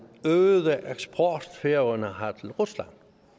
øgede eksport færøerne har til rusland